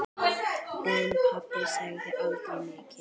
En pabbi sagði aldrei mikið.